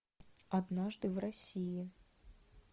однажды в россии